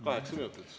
Kaheksa minutit.